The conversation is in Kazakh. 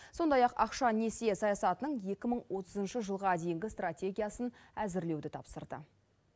сондай ақ ақша несие саясатының екі мың отызыншы жылға дейінгі стратегиясын әзірлеуді тапсырды